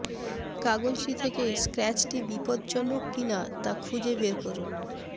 কাগজটি থেকে স্ক্র্যাচটি বিপজ্জনক কিনা তা খুঁজে বের করুন